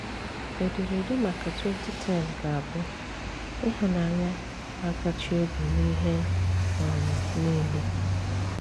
Éderede maka 2010 ga-abụ: ‘Ị̀hụ̀nànyà na-átàchí obi n’ihe um niile.’